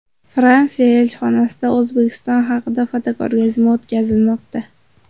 Fransiya elchixonasida O‘zbekiston haqida fotoko‘rgazma o‘tkazilmoqda.